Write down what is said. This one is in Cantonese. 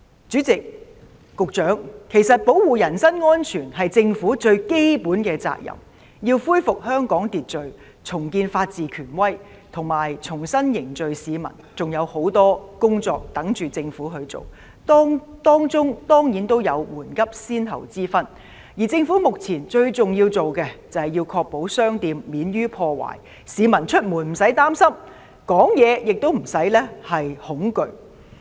主席，局長，保護人身安全是政府最基本的責任，要恢復香港秩序，重建法治權威，以及重新凝聚市民，還有很多工作有待政府處理，當中固然有緩急先後之分，而目前政府必須處理的，最重要是確保商店免被破壞，市民出門無需擔心，說話亦無需恐懼。